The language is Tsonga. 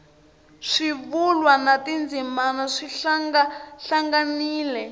swivulwa na tindzimana swi hlangahlanganile